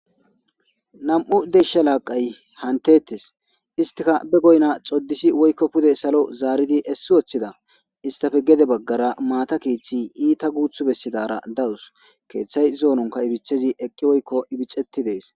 nam'u desha laaqay hantettes istika be goyna xoddisi woykko pude salo zaaridi essi woththida istafe gede baggara maata kiiththi iita guuth bessidara dawus keeththay zoononka ibithezi eqqi woykko ibixetti dees